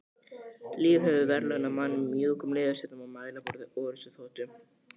Lífið hefur verðlaunað mann með mjúkum leðursætum og mælaborði orrustuþotu.